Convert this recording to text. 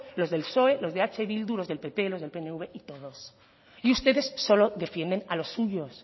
los del psoe los de eh bildu los del pp los del pnv y podemos y ustedes solo defiendes a los suyos